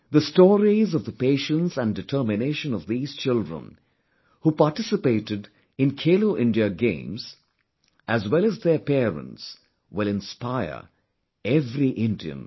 The stories of the patience and determination of these children who participated in 'Khelo India Games' as well as their parents will inspire every Indian